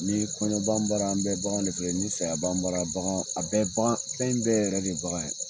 Ni kɔɲɔn b'an bara , an bɛ bagan de feere, ni saya b'an bara bagan , a bɛ bagan fɛn bɛ ɛin bɛ yɛrɛ de ye bagan ye .